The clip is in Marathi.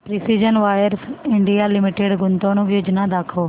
प्रिसीजन वायर्स इंडिया लिमिटेड गुंतवणूक योजना दाखव